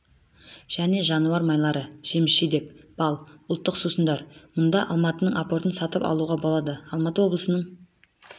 және жануар майлары жеміс-жидек бал ұлттық сусындар мұнда алматының апортын сатып алуға болады алматы облысының